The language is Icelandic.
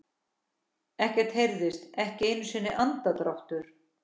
Ekkert heyrðist, ekki einu sinni andardráttur.